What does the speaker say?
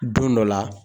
Don dɔ la